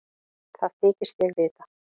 Það þykist ég vita.